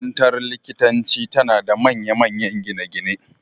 Makarantar likitanci tana da manyan gine-gine